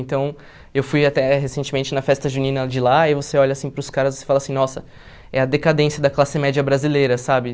Então, eu fui até recentemente na festa junina de lá e você olha assim para os caras e fala assim, nossa, é a decadência da classe média brasileira, sabe?